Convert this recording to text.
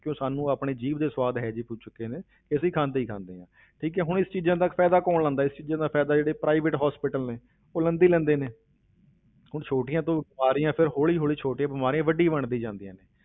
ਕਿਉਂ ਸਾਨੂੰ ਆਪਣੇ ਜੀਭ ਦੇ ਸਵਾਦ ਇਹ ਜਿਹੇ ਹੋ ਚੁੱਕੇ ਨੇ ਕਿ ਅਸੀਂ ਖਾਂਦੇ ਹੀ ਖਾਂਦੇ ਹਾਂ ਠੀਕ ਹੈ ਹੁਣ ਇਸ ਚੀਜ਼ਾਂ ਦਾ ਫ਼ਾਇਦਾ ਕੌਣ ਲੈਂਦਾ ਹੈ, ਇਸ ਚੀਜ਼ਾਂ ਦਾ ਫ਼ਾਇਦਾ ਜਿਹੜੇ private hospital ਨੇ ਉਹ ਲੈਂਦੇ ਹੀ ਲੈਂਦੇ ਨੇ ਹੁਣ ਛੋਟੀਆਂ ਤੋਂ ਬਿਮਾਰੀਆਂ ਫਿਰ ਹੌਲੀ ਹੌਲੀ ਛੋਟੀਆਂ ਬਿਮਾਰੀਆਂ ਵੱਡੀ ਬਣਦੀ ਜਾਂਦੀਆਂ ਨੇ।